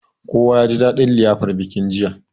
Kowa yaji dadin liyafar bikin jiya.